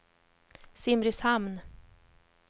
Simrishamn